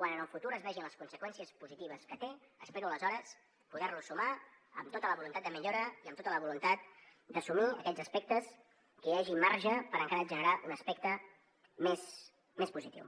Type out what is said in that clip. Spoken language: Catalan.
quan en el futur es vegin les conseqüències positives que té espero aleshores poder los sumar amb tota la voluntat de millora i amb tota la voluntat d’assumir aquells aspectes en què hi hagi marge per encara generar un aspecte més positiu